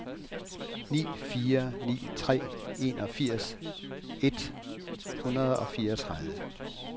ni fire ni tre enogfirs et hundrede og fireogtredive